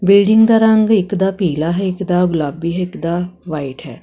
Building ਦਾ ਰੰਗ ਇੱਕ ਦਾ ਪੀਲਾ ਹੈ ਇੱਕ ਦਾ ਗੁਲਾਬੀ ਹਿਕ ਦਾ ਵਾਈਟ ਹੈ।